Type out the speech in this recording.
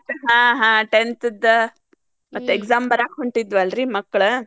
ಹಾ ಹಾ tenth ದ್ ಮತ್ exam ಬರ್ಯಾಕ್ ಹೊಂಟಿದ್ವಲ್ರಿ ಮಕ್ಳ್.